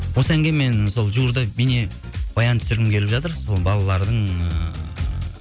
осы әнге мен сол жуырда бейнебаян түсіргім келіп жатыр сол балалардың ыыы